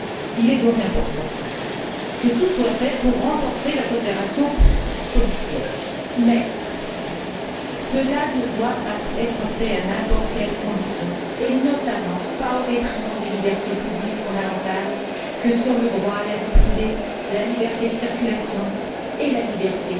Il est donc important que tout soit fait pour renforcer la coopération policière, mais cela ne doit pas être fait à n'importe quelles conditions, et notamment pas au détriment des libertés publiques fondamentales que sont le droit à la vie privée, la liberté de circulation et la liberté